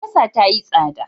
Albasa ta yi tsada.